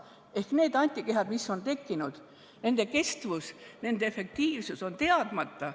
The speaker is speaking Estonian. Ehk need antikehad, mis on tekkinud, nende kestvus, nende efektiivsus on teadmata.